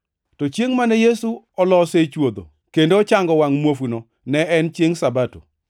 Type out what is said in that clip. To chiengʼ mane Yesu olose chwodho kendo ochango wangʼ muofuno ne en chiengʼ Sabato.